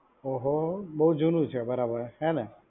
ઓહો બહુ જૂનું છે બરાબર. હે ને.